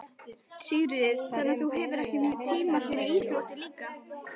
Sigríður: Þannig að þú hefur ekki tíma fyrir íþróttir líka?